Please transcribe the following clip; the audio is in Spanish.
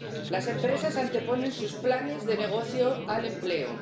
Las empresas anteponen sus planes de negocio al empleo.